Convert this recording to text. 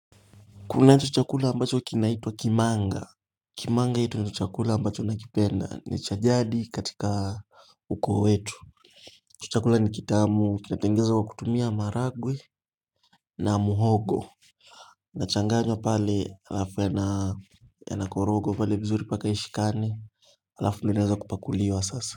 Kunacho chakula ambacho kinaitwa kimanga. Kimanga hii ndio chakula ambacho nakipenda ni cha jadi katika ukoo wetu. Hicho chakula ni kitamu kinatengezwa kutumia maragwe na muhogo. Inachanganywa pale alafu yanakorogwa pale vizuri mpaka ishikane. Alafu linaweza kupakuliwa sasa.